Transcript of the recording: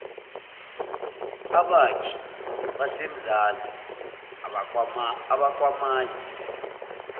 abakhi basemzansi abakwamanye